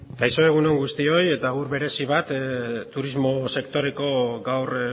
kaixo egun on guztioi eta agur merezi bat turismo sektoreko gaur